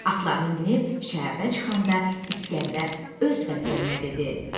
Atlarını minib şəhərdən çıxanda İsgəndər öz vəzirinə dedi: